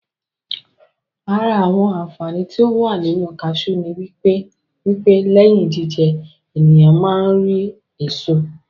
Àra àwọn Àǹfàani tí ó wà nínu kasiú ni wípé lẹ́yìn jíjẹ, ènìyàn ma á rí èso